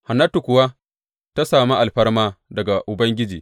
Hannatu kuwa ta sami alfarma daga Ubangiji.